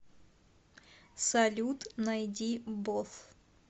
салют найди боф